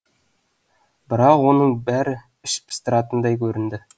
бірақ оның бәрі іш пыстыратындай көрінді